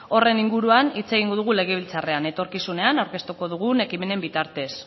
horren inguruan hitz egingo dugu legebiltzarrean etorkizunean aurkeztuko dugun ekimenen bitartez